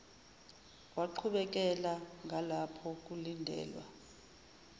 waqhubekela ngalapho kulindelwa